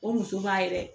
O muso b'a yɛrɛ